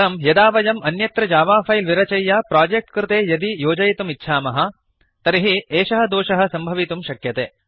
परं यदा वयम् अन्यत्र जावा फैल् विरचय्य प्रोजेक्ट् कृते यदि योजयितुमिच्छामः तर्हि एषः दोषः सम्भवितुं शक्यते